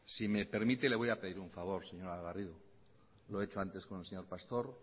si me permite le voy a pedir un favor señora garrido lo he hecho antes con el señor pastor